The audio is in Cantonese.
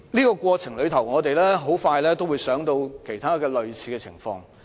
在過程中，多位議員亦會聯想起其他類似情況。